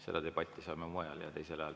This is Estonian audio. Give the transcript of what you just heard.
Seda debatti saame pidada mujal ja teisel ajal.